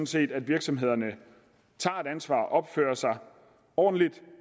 set at virksomhederne tager et ansvar opfører sig ordentligt